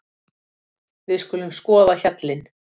Við skulum skoða hjallinn.